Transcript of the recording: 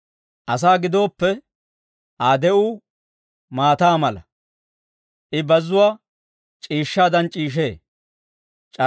Asaa gidooppe, Aa de'uu maataa mala; I bazzuwaa c'iishshaadan c'iishshee;